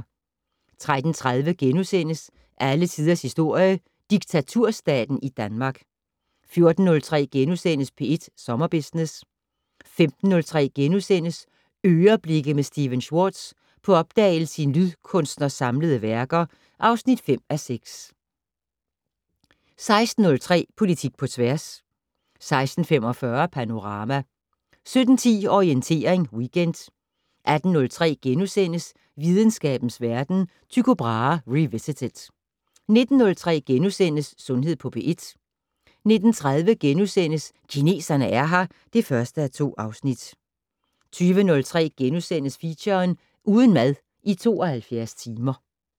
13:30: Alle tiders historie: Diktaturstaten i Danmark * 14:03: P1 Sommerbusiness * 15:03: "Øreblikke" med Stephen Schwartz - på opdagelse i en lydkunstners samlede værker (5:6)* 16:03: Politik på tværs 16:45: Panorama 17:10: Orientering Weekend 18:03: Videnskabens Verden: Tycho Brahe revisited * 19:03: Sundhed på P1 * 19:30: Kineserne er her (1:2)* 20:03: Feature: Uden mad i 72 timer *